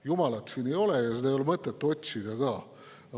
Jumalat siin ei ole ja seda ei ole mõtet otsida ka.